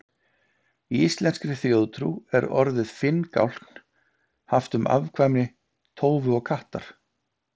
Í íslenskri þjóðtrú er orðið finngálkn haft um afkvæmi tófu og kattar.